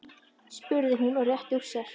spurði hún og rétti úr sér.